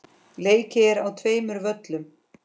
Leikið er á tveimur völlum.